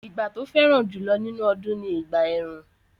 Ìgbà tó fẹ́ràn jùlọ nínú ọdún ni ìgbà ẹ̀rùn